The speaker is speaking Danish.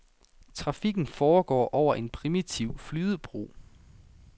Trafikken foregår over en primitiv flydebro.